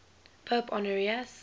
pope honorius